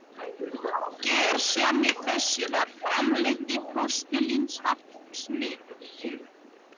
Gersemi þessi var framleidd í postulínsverksmiðju